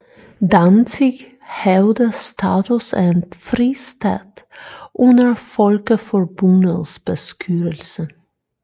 Danzig havde status af en fristat under Folkeforbundets beskyttelse